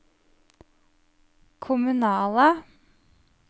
kommunale